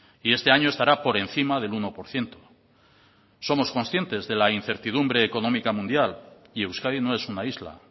y este año estará por encima del uno por ciento somos conscientes de la incertidumbre económica mundial y euskadi no es una isla